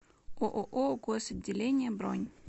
ооо госотделение бронь